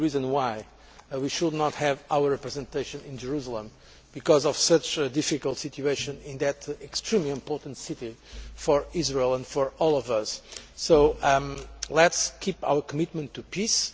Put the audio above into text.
why we should not have a representation in Jerusalem as a result of the difficult situation in that extremely important city for Israel and for all of us. So let us keep our commitment to peace.